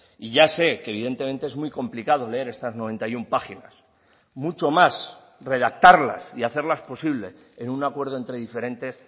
y ya sé que evidentemente es muy complicado leer estas noventa y uno páginas mucho más redactarlas y hacerlas posible en un acuerdo entre diferentes